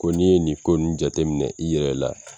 Ko n'i ye nin ko nu jate minɛ i yɛrɛ la